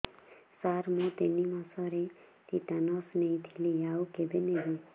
ସାର ମୁ ତିନି ମାସରେ ଟିଟାନସ ନେଇଥିଲି ଆଉ କେବେ ନେବି